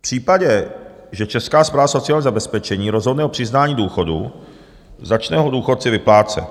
V případě, že Česká správa sociálního zabezpečení rozhodne o přiznání důchodu, začne ho důchodci vyplácet.